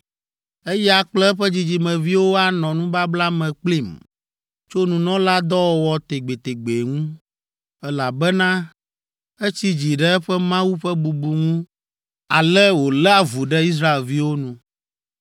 Eya kple eƒe dzidzimeviwo anɔ nubabla me kplim tso nunɔladɔwɔwɔ tegbetegbe ŋu, elabena etsi dzi ɖe eƒe Mawu ƒe bubu ŋu ele wòlé avu ɖe Israelviwo nu.”